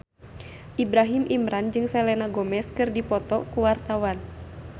Ibrahim Imran jeung Selena Gomez keur dipoto ku wartawan